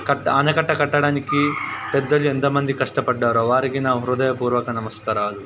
కట్ట ఆనకట్టడానికి పెద్దలు ఎంత మంది కష్టపడ్డారో వారికి నా హృదయపూర్వక నమస్కారాలు.